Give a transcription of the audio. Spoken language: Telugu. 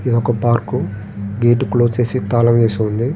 ఇదొక పార్కు గేటు క్లోజ్ చేసి తాళం వేసి ఉంది.